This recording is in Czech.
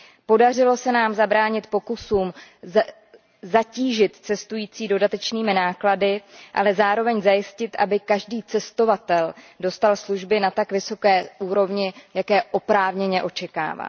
Podařilo se nám zabránit pokusům zatížit cestující dodatečnými náklady, ale zároveň zajistit, aby každý cestovatel dostal služby na tak vysoké úrovni, jaké oprávněně očekává.